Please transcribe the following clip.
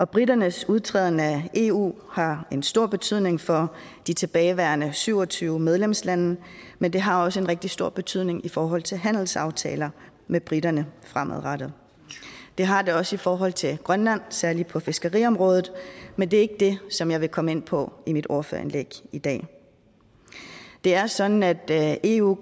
briternes udtræden af eu har en stor betydning for de tilbageværende syv og tyve medlemslande men det har også en rigtig stor betydning i forhold til handelsaftaler med briterne fremadrettet det har det også i forhold til grønland særlig på fiskeriområdet men det er ikke det som jeg vil komme ind på i mit ordførerindlæg i dag det er sådan at eu